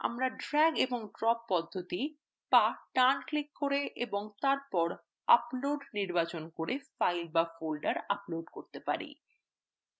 আমরা drag এবং drop পদ্ধতি বা ডান ক্লিক করে এবং তারপর upload নির্বাচন করে files বা folders upload করতে পারি